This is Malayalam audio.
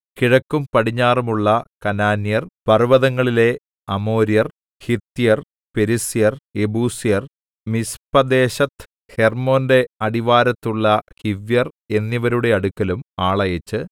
കിഴക്കും പടിഞ്ഞാറുമുള്ള കനാന്യർ പർവ്വതങ്ങളിലെ അമോര്യർ ഹിത്യർ പെരിസ്യർ യെബൂസ്യർ മിസ്പെദേശത്ത് ഹെർമ്മോന്റെ അടിവാരത്തുള്ള ഹിവ്യർ എന്നിവരുടെ അടുക്കലും ആളയച്ച്